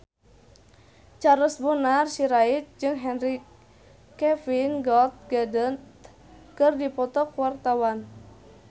Charles Bonar Sirait jeung Henry Cavill Gal Gadot keur dipoto ku wartawan